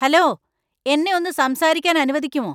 Hello, എന്നെ ഒന്ന് സംസാരിക്കാൻ അനുവദിക്കുമോ?